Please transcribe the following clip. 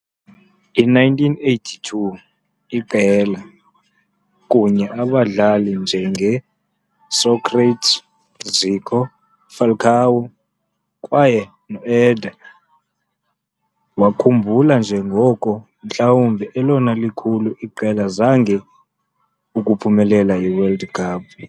I - 1982 iqela, kunye abadlali njenge Sócrates, Zico, Falcão kwaye Éder, wakhumbula njengoko mhlawumbi elona likhulu iqela zange ukuphumelela i-World Cup.